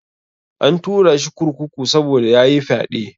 An turashi kurkuku saboda yayi fyaɗe.